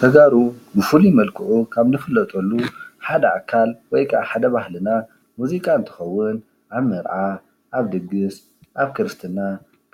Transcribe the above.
ተጋሩ ብፉሉይ መልክዑ ካብ እንፍለጠሉ ሓደ አካል ወይ ከዓ ሓደ ባህልና ሙዚቃ እንትኸውን አብ መርዓ፣ አብ ድግስ፣ አብ ክርስትና